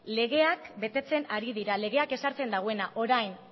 legeak betetzen ari dira legeak ez sartzen duena orain